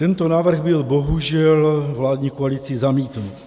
Tento návrh byl bohužel vládní koalicí zamítnut.